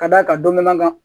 Ka d'a kan dɔ la